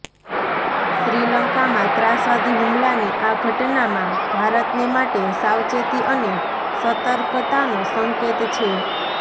શ્રીલંકામાં ત્રાસવાદી હુમલાની આ ઘટનામાં ભારતને માટે સાવચેતી અને સતર્કતાનો સંકેત છે